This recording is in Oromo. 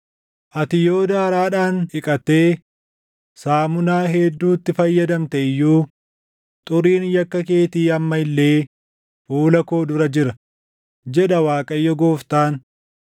Ati yoo daaraadhaan dhiqattee saamunaa hedduutti fayyadamte iyyuu, xuriin yakka keetii amma illee fuula koo dura jira” jedha Waaqayyo Gooftaan.